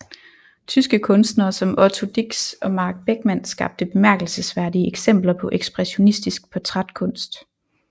Tyske kunstnere som Otto Dix og Max Beckmann skabte bemærkelsesværdige eksempler på ekspressionistisk portrætkunst